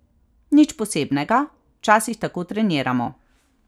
Nič posebnega, včasih tako treniramo.